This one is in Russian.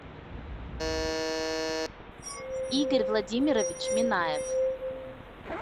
игорь владимирович минаев